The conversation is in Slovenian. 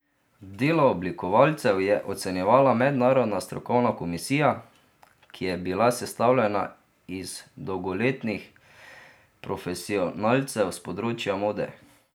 Delo oblikovalcev je ocenjevala mednarodna strokovna komisija, ki je bila sestavljena iz dolgoletnih profesionalcev s področja mode.